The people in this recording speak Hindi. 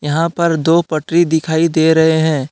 यहां पर दो पटरी दिखाई दे रहे हैं।